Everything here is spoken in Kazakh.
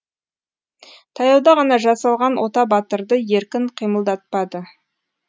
таяуда ғана жасалған ота батырды еркін қимылдатпады